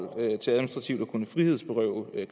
kunne frihedsberøve